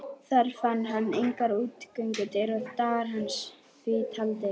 Þar fann hann engar útgöngudyr og dagar hans því taldir.